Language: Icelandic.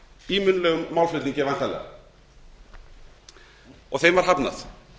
í munnlegum málflutningi væntanlega og þeim var hafnað